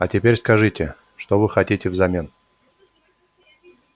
а теперь скажите что вы хотите взамен